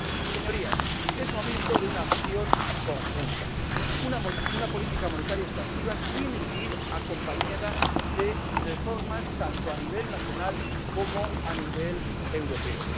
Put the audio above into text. Señorías, es momento de una acción conjunta. Una política monetaria expansiva tiene que ir acompañada de reformas tanto a nivel nacional como a nivel europeo.